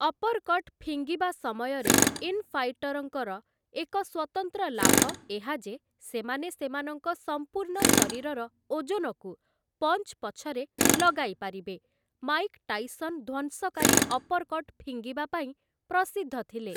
Uppercut ଫିଙ୍ଗିବା ସମୟରେ ଇନ୍‌ଫାଇଟର୍‌ଙ୍କର ଏକ ସ୍ୱତନ୍ତ୍ର ଲାଭ ଏହା ଯେ ସେମାନେ ସେମାନଙ୍କ ସମ୍ପୂର୍ଣ୍ଣ ଶରୀରର ଓଜନକୁ ପଞ୍ଚ୍‌ ପଛରେ ଲଗାଇପାରିବେ ମାଇକ ଟାଇସନ୍‌ ଧ୍ୱଂସକାରୀ ଅପର୍‌କଟ୍ ଫିଙ୍ଗିବା ପାଇଁ ପ୍ରସିଦ୍ଧ ଥିଲେ ।